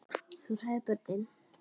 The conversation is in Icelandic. Þú hræðir börnin.